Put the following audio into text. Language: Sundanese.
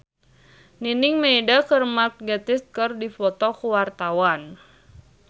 Nining Meida jeung Mark Gatiss keur dipoto ku wartawan